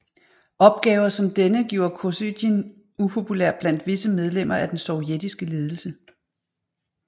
Opgaver som denne gjorde Kosygin upopulær blandt visse medlemmer af den sovjetiske ledelse